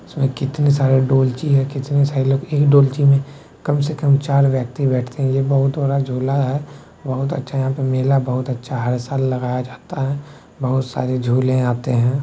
इसमें कितने सारे डोलची है कितने सारे लोग एक डोलची में कम से कम चार व्यक्ति बैठते हैं। ये बहुत बड़ा झुला है बहुत अच्छा यहाँ पे मेला बहुत अच्छा हर साल लगाया जाता है। बहुत सारे झूले आते हैं।